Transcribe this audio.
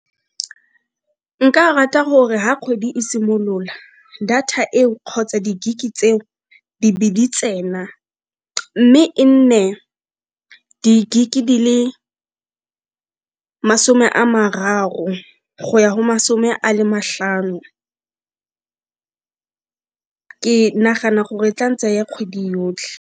Nka rata gore ga kgwedi e simolola data eo kgotsa di-gig-e tseo di be ditsena mme e nne di-dig-e di le masome a mararo go ya go masome a le matlhano ke nagana gore e tla ntseya kgwedi yotlhe.